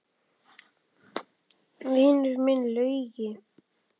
Vinur minn Laugi!